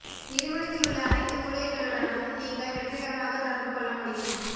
நிறுவனத்தில் உள்ள அனைத்து ஊழியர்களுடனும் நீங்கள் வெற்றிகரமாக தொடர்பு கொள்ள முடியும்